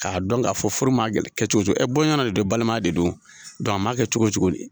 Ka dɔn ka fɔ furu ma na kɛ cogo cogo e bɔ ɲɔgɔn na de don , balimaya de don a maa kɛ cogo cogo.